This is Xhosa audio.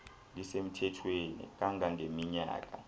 lisemthethweni kanga ngeminyaka